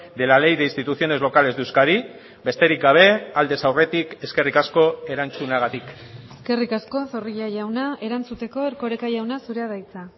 de la ley de instituciones locales de euskadi besterik gabe aldez aurretik eskerrik asko erantzunagatik eskerrik asko zorrilla jauna erantzuteko erkoreka jauna zurea da hitza